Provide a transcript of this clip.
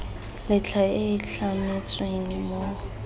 latlha e e tlametsweng mo